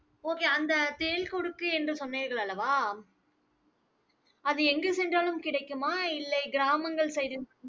okay அந்த தேள் கொடுக்கு என்று சொன்னீர்கள் அல்லவா? அது எங்கு சென்றாலும் கிடைக்குமா? இல்லை கிராமங்கள் side